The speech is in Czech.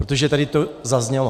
Protože tady to zaznělo.